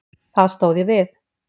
Það stóð ég við.